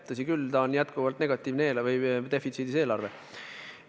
Tõsi küll, see on jätkuvalt negatiivne eelarve, defitsiidis eelarve.